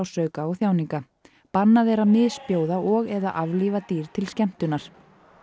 þjáninga bannað er að misbjóða og eða aflífa dýr til skemmtunar